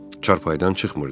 Çarpaydan çıxmırdı.